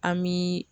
An bi